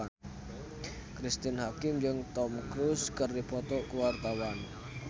Cristine Hakim jeung Tom Cruise keur dipoto ku wartawan